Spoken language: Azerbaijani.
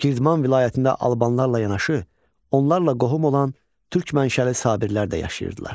Girdman vilayətində Albanlarla yanaşı, onlarla qohum olan türk mənşəli Sabirlər də yaşayırdılar.